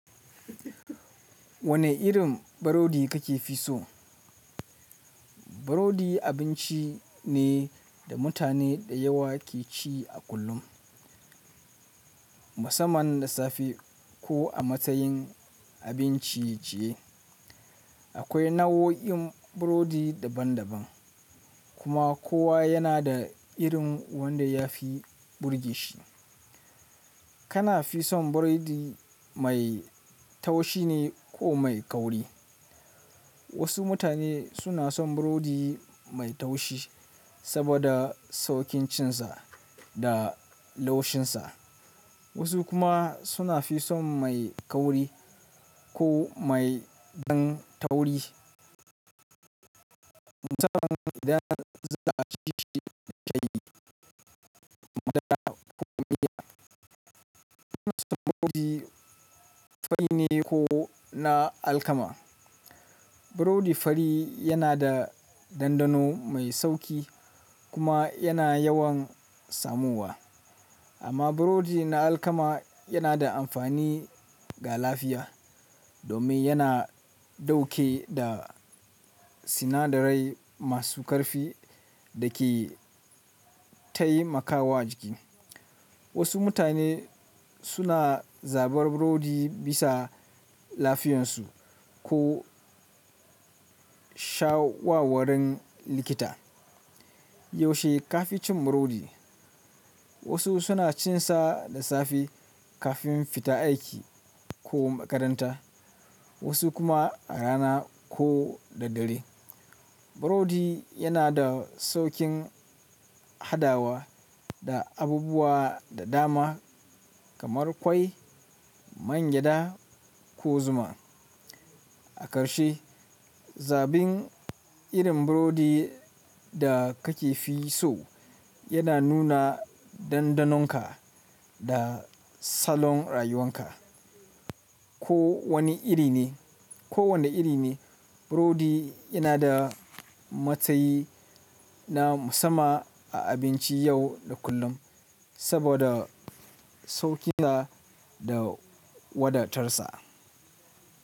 Wane irin burodi kake fi so? Burodi abinci ne da mutane da yawa ke ci a kullum, musamman da safe ko a matsayin abin ciye ciye. Akwai nau'o'in burodi daban-daban, kuma kowa yana da irin wanda ya fi burge shi. Kana fi son buredi mai taushi ne ko mai kauri. Wasu mutane suna son burodi mai taushi saboda saukincinsa da laushinsa, wasu kuma suna fi son mai kauri ko mai ɗan tauri. Zan zan iya cinshi da shayi da madara ko miya. Kana son burodi fari ne ko na alkama? Burodi fari yanada dandano mai sauki kuma yana yawan samuwa amma burodi na alkama yana da amfani ga lafiya domin yana dauke da si sinadarai masu ƙarfi da ke taimakawa jiki. Wasu mutane suna zabar burodi bisa lafiyarsu ko shawawarin likita. Yaushe ka fi cin burodi? Wasu suna cin sa da safe kafin fita aiki ko makaranta, wasu kuma a rana ko da dare. Burodi yana da sauƙin hadawa da abubuwa da dama kamar ƙwai, mangyaɗa ko zuma. A ƙarshe, zabin irin burodi da kake fi so yana nuna dandanonka da salon rayuwan ka. Ko wane iri ne, ko wane iri ne, burodi yana da matsayi na musamman a abinci yau da kullum saboda sauƙinsa da wadatarsa.